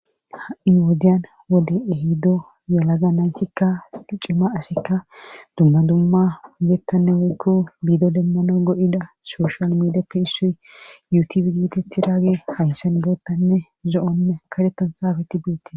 Ha'in woodiyan wode ehiddo yalaga naytikka duccima asekka dumma dumma ugettanne wekku biido demmana go7ida sooshal miidappe hissoy yuti figititi raagi haysan boottanne zo7onne kadhettan saafeti beette